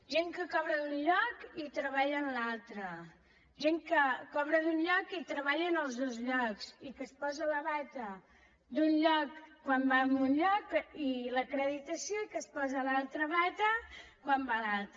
gent que cobra d’un lloc i treballa en l’altre gent que cobra d’un lloc i treballa en els dos llocs i que es posa la bata d’un lloc quan va a un lloc i l’acreditació i que es posa l’altra bata quan va a l’altre